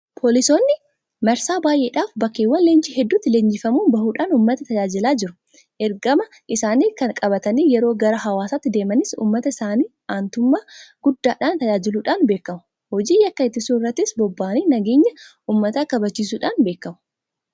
Poolisoonni marsaa baay'eedhaaf bakkeewwan leenjii hedduutti Leenjifamanii bahuudhaan uummata tajaajilaa jiru. Ergama isaanii kana qabatanii yeroo gara hawaasaatti deemanis uummata isaanii aantummaa guddaadhaan tajaajiluudhaan beekamu. Hojii yakka ittisuu irrattis bobbaba'anii nageenya uummataa kabachiisuudhaan beekamu.